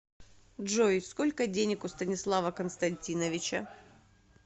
джой сколько денег у станислава константиновича